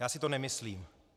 Já si to nemyslím.